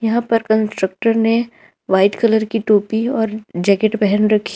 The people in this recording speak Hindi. अपर कंस्ट्रक्टर ने वाइट कलर की टोपी और जैकेट पहन रखी--